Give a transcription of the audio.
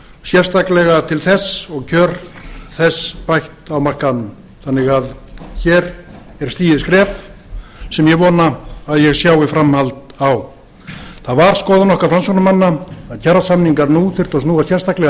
sérstaklega til þess og kjör þess bætt á markaðnum þannig að hér er stigið skref sem ég vona að ég sjái framhald á það var skoðun okkar framsóknarmanna að kjarasamningar nú þyrftu að snúa sérstaklega að